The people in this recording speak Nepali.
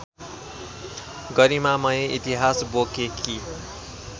गरिमामय इतिहास बोकेकी